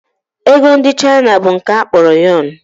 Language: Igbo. Ego ndị China bụ nke a kpọrọ Yọn